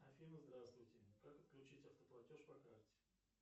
афина здравствуйте как отключить автоплатеж по карте